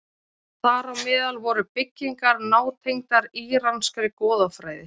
Þar á meðal voru byggingar nátengdar íranskri goðafræði.